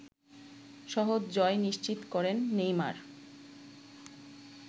সহজ জয় নিশ্চিত করেন নেইমার